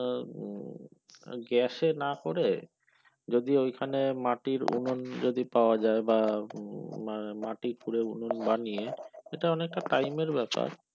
গ্যাসে না করে যদি ওইখানে মাটির উনুন যদি পাওয়া যায় বা মাটি খুঁড়ে উনুন বানিয়ে সেটা অনেকটা time এর ব্যপার।